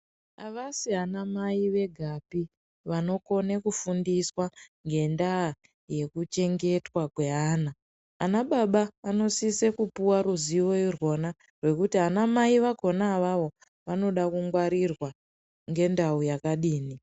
Avasi anamai vegapi vanokona kufundiswa ngendaa ye vana. Anababa vanosisa kupiwa ruzivo rwakona ngekuti anamai vakona avavo vanoda kungwarirwa ngendau akadini.